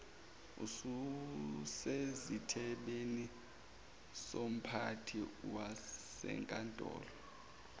ususezithebeni zomphathi wasenkantolo